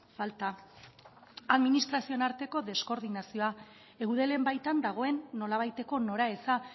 falta administrazioen arteko deskoordinazioa eudelen baitan dagoen nolabaiteko nora eza